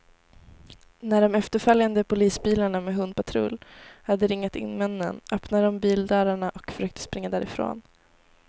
När de efterföljande polisbilarna med hundpatrull hade ringat in männen, öppnade de bildörrarna och försökte springa därifrån.